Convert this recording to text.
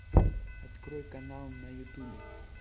открой канал на ютубе